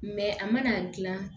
a mana gilan